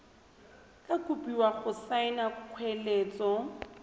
tla kopiwa go saena kgoeletso